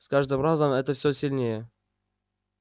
с каждым разом это все сильнее